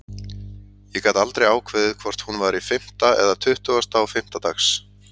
Ég gat aldrei ákveðið hvort hún væri fimmta eða tuttugasta og fimmta dags.